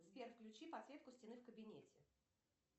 сбер включи подсветку стены в кабинете